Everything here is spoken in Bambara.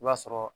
I b'a sɔrɔ